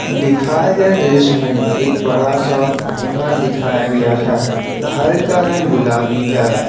दिखाए गए दृश्य में एक बड़ा सा घर दिखाया गया है घर का रंग गुलाबी है।